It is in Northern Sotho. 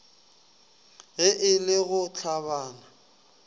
ge e le go hlabana